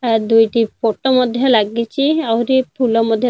ଆ ଦୁଇଟି ଫଟୋ ମଧ୍ୟ ଲାଗିଛି ଆହୁରି ଫୁଲ ମଧ୍ୟ ଲାଗି --